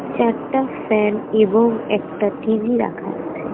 চারটা ফ্যান এবং একটা টি_ভি রাখা আছে।